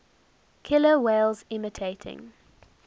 killer whales imitating